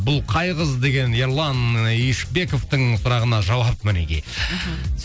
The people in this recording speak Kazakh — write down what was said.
бұл қай қыз деген ерлан юшпековтың сұрағына жауап мінекей мхм